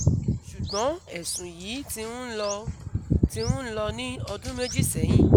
Ṣùgbọ́n ẹ̀sùn yìí ti ń lọ ti ń lọ ní ọdún méjì sẹ́yìn